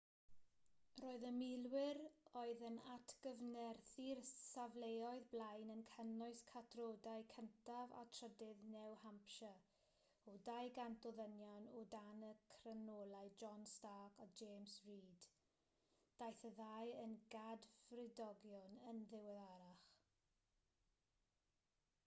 roedd y milwyr oedd yn atgyfnerthu'r safleoedd blaen yn cynnwys catrodau 1af a 3ydd new hampshire o 200 o ddynion o dan y cyrnolau john stark a james reed daeth y ddau yn gadfridogion yn ddiweddarach